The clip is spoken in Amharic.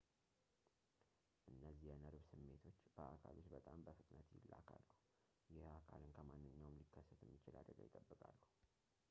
እነዚህ የነርቭ ስሜቶች በአካል ውስጥ በጣም በፍጥነት ይላካሉ ይህ አካልን ከማንኛውም ሊከሰት የሚችል አደጋ ይጠብቃሉ